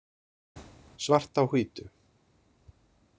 Svart á hvítu.